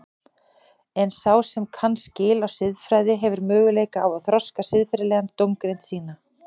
En sá sem kann skil á siðfræði hefur möguleika á að þroska siðferðilega dómgreind sína.